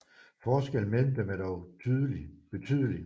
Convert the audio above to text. Forskellen mellem dem er dog betydelig